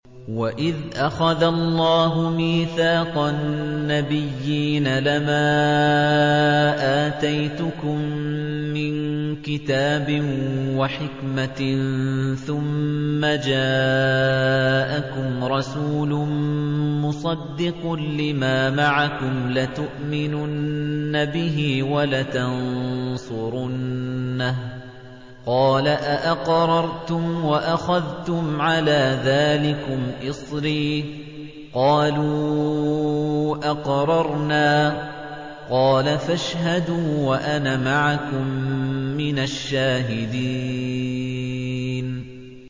وَإِذْ أَخَذَ اللَّهُ مِيثَاقَ النَّبِيِّينَ لَمَا آتَيْتُكُم مِّن كِتَابٍ وَحِكْمَةٍ ثُمَّ جَاءَكُمْ رَسُولٌ مُّصَدِّقٌ لِّمَا مَعَكُمْ لَتُؤْمِنُنَّ بِهِ وَلَتَنصُرُنَّهُ ۚ قَالَ أَأَقْرَرْتُمْ وَأَخَذْتُمْ عَلَىٰ ذَٰلِكُمْ إِصْرِي ۖ قَالُوا أَقْرَرْنَا ۚ قَالَ فَاشْهَدُوا وَأَنَا مَعَكُم مِّنَ الشَّاهِدِينَ